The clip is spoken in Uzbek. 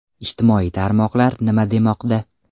Ijtimoiy tarmoqlar nima demoqda?.